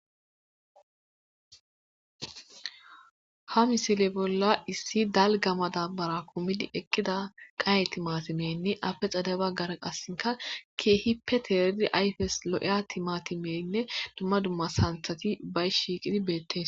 ha misile bolla issi dalga madabara kumidi eqqida qaye timatimeynne afe xade baggaren assinka keehippe teerdi ayfes lo7eya timatimeynne dumma dumma santhati bay shiiqidi beettees